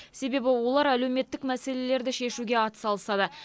себебі олар әлеуметтік мәселелерді шешуге атсалысады